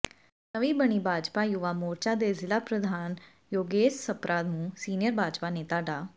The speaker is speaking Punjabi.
ਨਵੀਂ ਬਣੀ ਭਾਜਪਾ ਯੁਵਾ ਮੋਰਚਾ ਦੇ ਜ਼ਿਲ੍ਹਾ ਪ੍ਰਧਾਨ ਯੋਗੇਸ਼ ਸਪਰਾ ਨੂੰ ਸੀਨੀਅਰ ਭਾਜਪਾ ਨੇਤਾ ਡਾ